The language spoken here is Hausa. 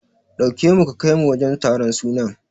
Ɗauke nu ka kaimu wajen taron sunan.